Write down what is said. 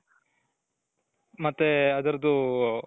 ಮತ್ತೆ ಅದರದ್ದು.